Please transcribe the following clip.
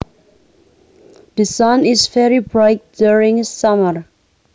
The sun is very bright during summer